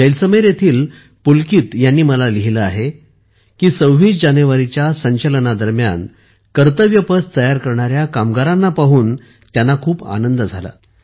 जैसलमेर येथील पुलकित यांनी मला लिहिले आहे की 26 जानेवारीच्या संचलनादरम्यान कर्तव्य पथतयार करणाऱ्या कामगारांना पाहून खूप आनंद झाला